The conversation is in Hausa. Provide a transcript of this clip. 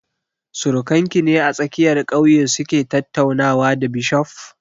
Surakan ki ne a tsakiyar ƙauye su ke tattaunawa da bishof?